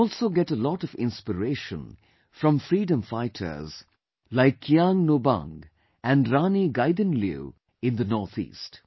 We also get a lot of inspiration from freedom fighters like Kiang Nobang and Rani Gaidinliu in the North East